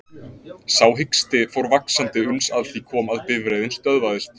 Sá hiksti fór vaxandi uns að því kom að bifreiðin stöðvaðist.